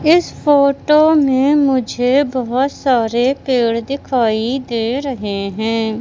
इस फोटो में मुझे बहुत सारे पेड़ दिखाई दे रहे हैं।